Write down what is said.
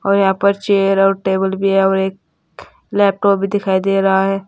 यहां पर चेयर और टेबल भी है और एक लैपटॉप भी दिखाई दे रहा है।